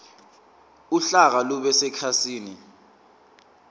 uhlaka lube sekhasini